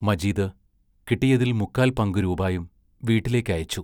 മജീദ് കിട്ടിയതിൽ മുക്കാൽ പങ്കു രൂപായും വീട്ടിലേക്ക് അയച്ചു.